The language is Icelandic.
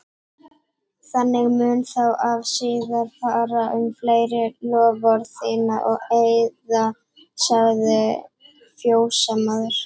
Þannig mun þá og síðar fara um fleiri loforð þín og eiða, sagði fjósamaður.